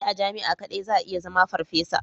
Sai a jami'a kadai za a iya zama farfesa.